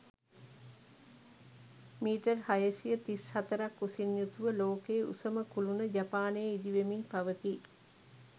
Metre හයසිය තිස්හතරක් උසින් යුතුව ලෝකයේ උසම කුළුණ ජපානයේ ඉදිවෙමින් පවතී.